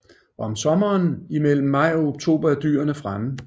Om sommeren imellem maj og oktober er dyrene fremme